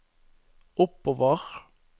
oppover